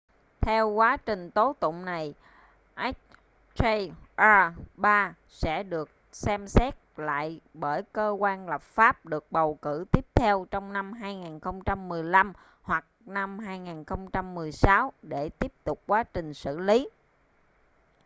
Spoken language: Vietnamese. theo sau quá trình tố tụng này hjr-3 sẽ được xem xét lại bởi cơ quan lập pháp được bầu cử tiếp theo trong năm 2015 hoặc 2016 để tiếp tục quá trình xử lý